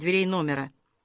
дверей номера